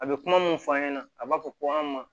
A bɛ kuma mun fɔ an ɲɛna a b'a fɔ ko an ma